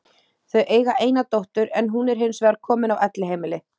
Þau eiga eina dóttur en hún er hins vegar komin á elliheimili.